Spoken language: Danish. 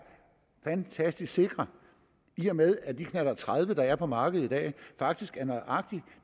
fantastisk sikre i og med at de knallert tredive der er på markedet i dag faktisk er nøjagtig